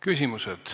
Küsimused.